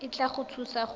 e tla go thusa go